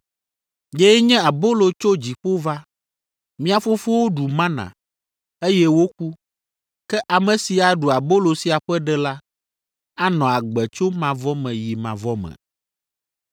Nyee nye abolo tso dziƒo va. Mia fofowo ɖu mana, eye woku, ke ame si aɖu abolo sia ƒe ɖe la, anɔ agbe tso mavɔ me yi mavɔ me.”